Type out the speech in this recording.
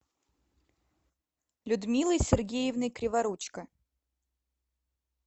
людмилой сергеевной криворучко